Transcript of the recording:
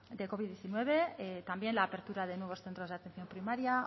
covid diecinueve también la apertura de nuevos centros de atención primaria